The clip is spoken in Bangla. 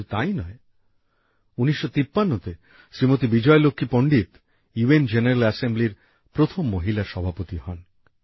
শুধু তাই নয় ১৯৫৩তে শ্রীমতি বিজয়লক্ষী পন্ডিত ইউএন জেনারেল এসেম্বলির প্রথম মহিলা সভাপতি হন